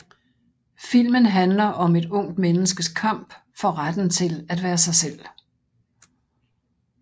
Filmen handler om et ungt menneskes kamp for retten til at være sig selv